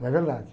Não é verdade.